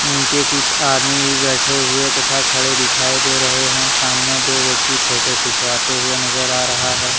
नीचे कुछ आदमी भी बैठे हुवे तथा खड़े दिखाई दे रहे है सामने दो व्यक्ति फोटो खिंचवाते हुवे नजर आ रहा है।